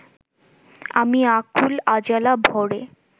আমি আকুল আঁজলা ভ’রে